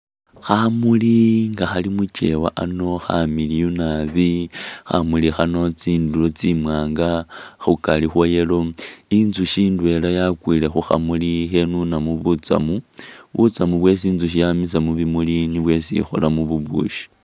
Khamuli nga khali mu kyewa ano khamiliyu nabi. Khamuli khano tsindulo tsimwaanga khukari khwa yellow. Inzusyi ndwela yakwiile khu khamuli ikhenunamu butsamu, butsamu bwesi inzusyi yamisa mu bimuli nibwo esi ikholamu bubusyi.